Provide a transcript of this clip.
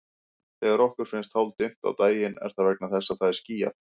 Þegar okkur finnst hálfdimmt á daginn er það vegna þess að það er skýjað.